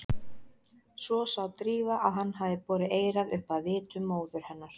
Svo sá Drífa að hann hafði borið eyrað upp að vitum móður hennar.